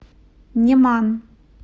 неман